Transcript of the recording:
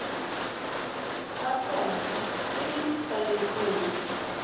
tsa tota tse di kanetsweng